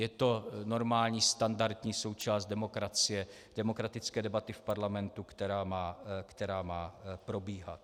Je to normální standardní součást demokracie, demokratické debaty v parlamentu, která má probíhat.